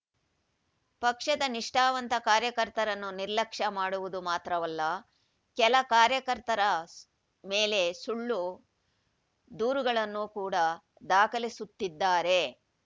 ಪಕ್ಷದ ನಿಷ್ಠಾವಂತ ಕಾರ್ಯಕರ್ತರನ್ನು ನಿರ್ಲಕ್ಷ್ಯ ಮಾಡುವುದು ಮಾತ್ರವಲ್ಲ ಕೆಲ ಕಾರ್ಯಕರ್ತರ ಮೇಲೆ ಸುಳ್ಳು ದೂರುಗಳನ್ನು ಕೂಡ ದಾಖಲಿಸುತ್ತಿದ್ದಾರೆ